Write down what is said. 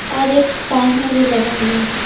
और एक टाइमर भी लगा हुआ है।